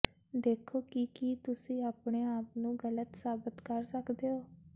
ਦੇਖੋ ਕਿ ਕੀ ਤੁਸੀਂ ਆਪਣੇ ਆਪ ਨੂੰ ਗਲਤ ਸਾਬਤ ਕਰ ਸਕਦੇ ਹੋ